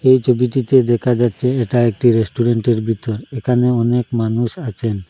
এই ছবিটিতে দেখা যাচ্ছে এটা একটা রেস্টুরেন্টের বিতর এখানে অনেক মানুষ আছেন।